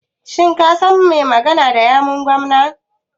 Shin ka san mai magana da yawun gwamnan.